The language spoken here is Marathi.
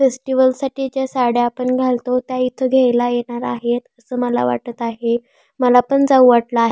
फेस्टिवल साठीच्या साड्या आपण घालतो त्या इथ घ्यायला येणार आहेत अस मला वाटत आहे मला पण जाऊ वाटल आहे.